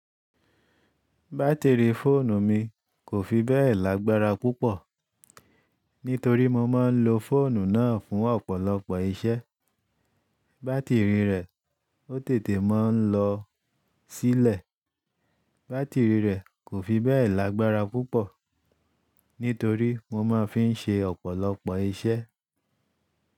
Baátìrì fóònù mi kò fi bẹ́ẹ̀ lágbára púpọ̀, nítorí mo máa ń lo fóònù náà fún ọ̀pọ̀lọpọ̀ iṣẹ́. Bátìrì rẹ̀ ó tètè máa ń lọ sílẹ̀. Báatìrì rẹ̀ kò fi bẹ́ẹ̀ lágbára púpọ̀, nítorí mo máa fi ń ṣe ọ̀pọ̀lọpọ̀ iṣẹ́